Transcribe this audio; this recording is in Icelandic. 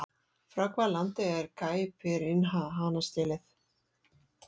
Frá hvaða landi er Caipirinha hanastélið?